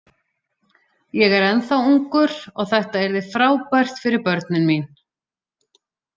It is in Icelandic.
Ég er ennþá ungur og þetta yrði frábært fyrir börnin mín.